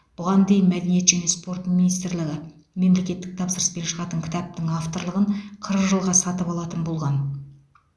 бұған дейін мәдениет және спорт министрлігі мемлекеттік тапсырыспен шығатын кітаптың авторлығын қырық жылға сатып алатын болған